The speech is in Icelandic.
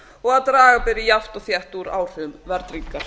og að draga beri jafnt og þétt úr áhrifum verðtryggingar